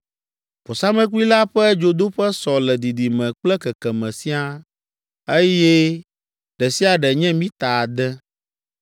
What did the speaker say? Vɔsamlekpui la ƒe dzodoƒe sɔ le didime kple kekeme siaa, eye ɖe sia ɖe nye mita ade.